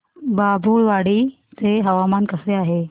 बाभुळवाडी चे हवामान कसे आहे